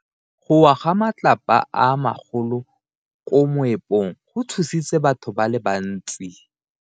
Go wa ga matlapa a magolo ko moepong go tshositse batho ba le bantsi.